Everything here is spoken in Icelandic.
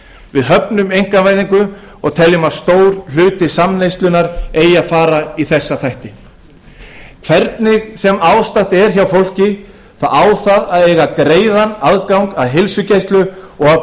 við höfnum einkavæðingu og teljum að stór hluti samneyslunnar eigi að fara í þessu kerfi hvernig sem ástatt er hjá fólki þá á það að eiga greiðan aðgang að heilsugæslu og